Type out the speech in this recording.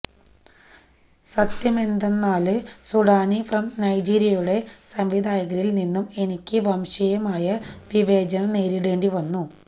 സത്യമെന്തെന്നാല് Sudani from നൈജീരിയയുടെ സംവിധായകരില് നിന്നും എനിക്ക് വംശീയമായ വിവേചനം നേരിടേണ്ടി വന്നു